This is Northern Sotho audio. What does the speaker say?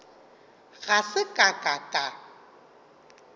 ga se ka ka ka